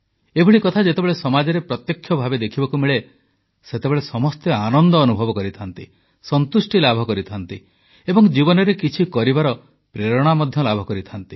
ଏଭଳି କଥା ଯେତେବେଳେ ସମାଜରେ ପ୍ରତ୍ୟକ୍ଷ ଭାବେ ଦେଖିବାକୁ ମିଳେ ସେତେବେଳେ ସମସ୍ତେ ଆନନ୍ଦ ଅନୁଭବ କରିଥାନ୍ତି ସନ୍ତୁଷ୍ଟି ଲାଭ କରିଥାନ୍ତି ଏବଂ ଜୀବନରେ କିଛି କରିବାର ପ୍ରେରଣା ମଧ୍ୟ ଲାଭ କରିଥାନ୍ତି